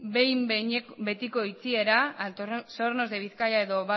behin betiko itxiera altos hornos de bizkaia edo